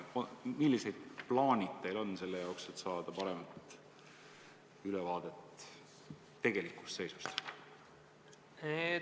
Millised plaanid teil on selleks, et saada paremat ülevaadet tegelikust seisust?